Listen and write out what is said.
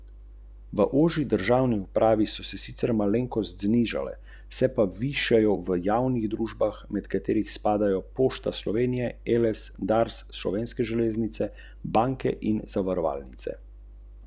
Poleg ruščine bodo v centru organizirali tudi tolmačenje v angleščini in slovenščini.